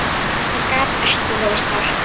Þetta gat ekki verið satt.